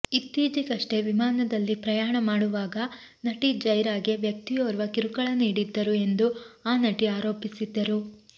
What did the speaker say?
ಇತ್ತಿಚೆಗಷ್ಟೇ ವಿಮಾನದಲ್ಲಿ ಪ್ರಯಾಣ ಮಾಡುವಾಗ ನಟಿ ಜೈರಾಗೆ ವ್ಯಕ್ತಿಯೋರ್ವ ಕಿರುಕುಳ ನೀಡಿದ್ದರು ಎಂದು ಆ ನಟಿ ಆರೋಪಿಸಿದ್ದರು